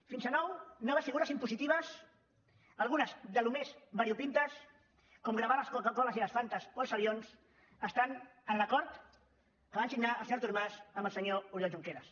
fins a nou noves figures impositives algunes d’allò més variopintes com gravar les coca coles i les fantes o els avions estan en l’acord que va signar el senyor artur mas amb el senyor oriol junqueras